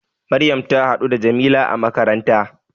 Maryam ta haɗu da Jamila a makaranta